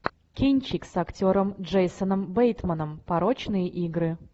кинчик с актером джейсоном бейтманом порочные игры